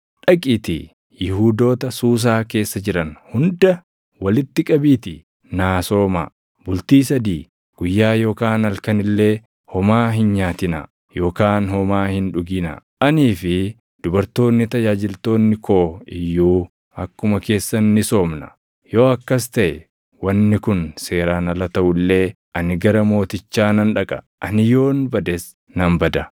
“Dhaqiitii Yihuudoota Suusaa keessa jiran hunda walitti qabiitii naa soomaa. Bultii sadii, guyyaa yookaan halkan illee homaa hin nyaatinaa yookaan homaa hin dhuginaa. Anii fi dubartoonni tajaajiltoonni koo iyyuu akkuma keessan ni soomna. Yoo akkas taʼe wanni kun seeraan ala taʼu illee ani gara mootichaa nan dhaqa. Ani yoon bades nan bada.”